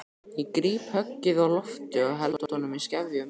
Ég gríp höggið á lofti og held honum í skefjum.